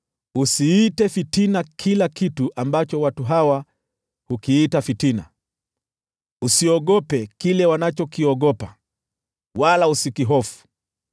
“Usiite fitina kila kitu ambacho watu hawa hukiita fitina, usiogope kile wanachokiogopa, wala usikihofu.